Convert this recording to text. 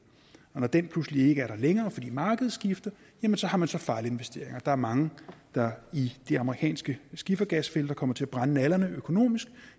og når den forudsætning pludselig ikke er der længere fordi markedet skifter jamen så har man fejlinvesteringer der er mange der i de amerikanske skifergasfelter kommer til at brænde nallerne økonomisk